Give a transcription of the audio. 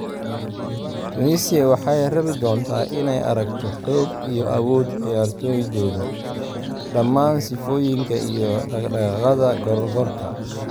Tunisia waxay rabi doontaa inay aragto xoog iyo awood ciyaartoydooda, dhammaan sifooyinka iyo dhaqdhaqaaqa gorgorka.